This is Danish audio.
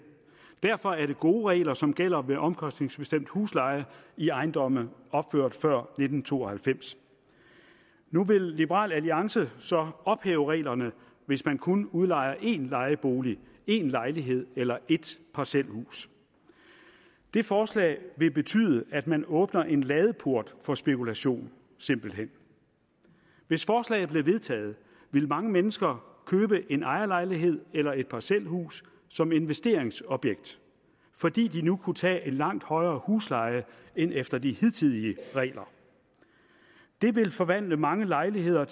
derfor er det gode regler som gælder ved omkostningsbestemt husleje i ejendomme opført før nitten to og halvfems nu vil liberal alliance så ophæve reglerne hvis man kun udlejer én lejebolig én lejlighed eller ét parcelhus det forslag vil betyde at man åbner en ladeport for spekulation simpelt hen hvis forslaget blev vedtaget ville mange mennesker købe en ejerlejlighed eller et parcelhus som investeringsobjekt fordi de nu kunne tage en langt højere husleje end efter de hidtidige regler det ville forvandle mange lejligheder